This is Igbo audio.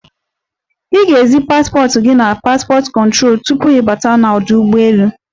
Ị ga-ezi paspọt gi n'paspọt kụtrolu tupu gị bata n'ọdụ ụgbọelu.